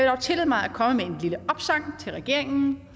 dog tillade mig at komme med en lille opsang til regeringen